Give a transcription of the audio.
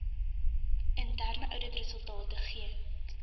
interne ouditresultate geen